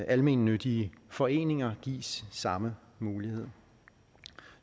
almennyttige foreninger gives samme mulighed